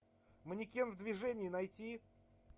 манекен в движении найти